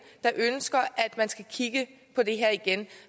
der ønsker at man skal kigge på det her igen